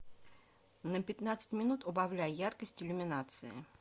на пятнадцать минут убавляй яркость иллюминации